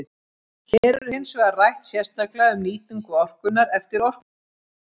Hér verður hins vegar rætt sérstaklega um nýtingu orkunnar eftir orkulindum.